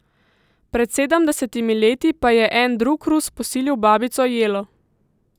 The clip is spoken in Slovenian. Pred sedemdesetimi leti pa je en drug Rus posilil babico Jelo!